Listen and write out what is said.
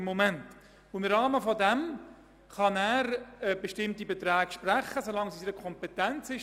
In diesem Rahmen kann er bestimmte Beträge sprechen, solange diese in seiner Kompetenz liegen.